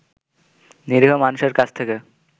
নিরীহ মানুষের কাছ থেকে